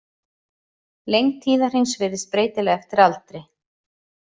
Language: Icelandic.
Lengd tíðahrings virðist breytileg eftir aldri.